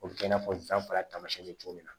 O bɛ kɛ i n'a fɔ danfara bɛ cogo min na